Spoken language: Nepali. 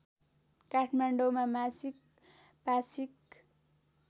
काठमाडौँमा मासिक पाक्षिक